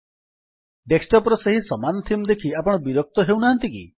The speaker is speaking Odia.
ଡେସ୍କଟପ୍ ର ସେହି ସମାନ ଥିମ୍ ଦେଖି ଆପଣ ବିରକ୍ତ ହେଉନାହାଁନ୍ତି କି